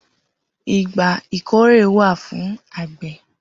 Igbà ikóré wà fún ágbẹ̀